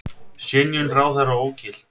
Synjun ráðherra ógilt